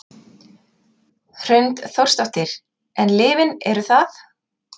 Hrund Þórsdóttir: En lyfin eru það?